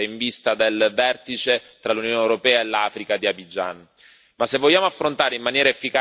ed è fondamentale tenere questo a mente in vista del vertice tra l'Unione europea e l'Africa di Abidjan.